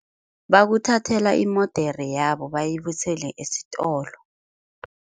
Bakuthathela imodere yabo bayibuyisele esitolo.